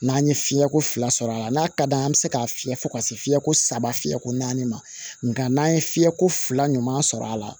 N'an ye fiɲɛko fila sɔrɔ a la n'a ka d'an ye an bɛ se ka fiyɛ fo ka se fiɲɛ ko saba fiyɛ ko naani ma nga n'an ye fiyɛko fila ɲuman sɔrɔ a la